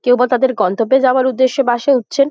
কেউ বা তাদের গন্তব্যে যাওয়ার উদ্দেশে বাস এ উঠছেন।